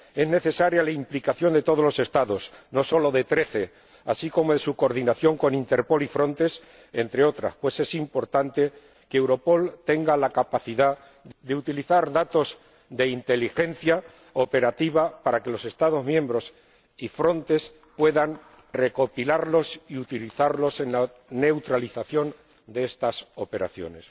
Es necesaria la implicación de todos los Estados, no solo de trece de ellos, así como su coordinación con Interpol y Frontex entre otras, pues es importante que Europol tenga la capacidad de utilizar datos de inteligencia operativa para que los Estados miembros y Frontex puedan recopilarlos y utilizarlos en la neutralización de estas operaciones.